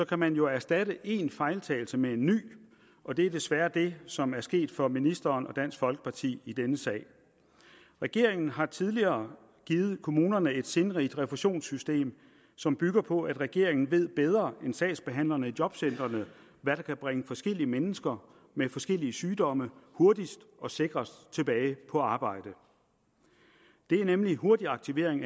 kan man jo erstatte en fejltagelse med en ny og det er desværre det som er sket for ministeren og dansk folkeparti i denne sag regeringen har tidligere givet kommunerne et sindrigt refusionssystem som bygger på at regeringen ved bedre end sagsbehandlerne i jobcentrene hvad der kan bringe forskellige mennesker med forskellige sygdomme hurtigst og sikrest tilbage på arbejde nemlig hurtig aktivering